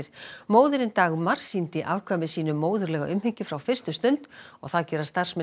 móðirin Dagmar sýndi afkvæmi sínu móðurlega umhyggju frá fyrstu stund og það gera starfsmenn